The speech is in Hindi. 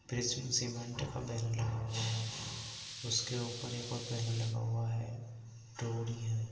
प्रिज्म सीमेंट का बैनर लगा हुआ है। उसके ऊपर एक और बैनर लगा हुआ है डोरी है।